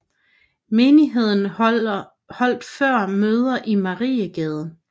Menigheden holdt før møder i Mariegade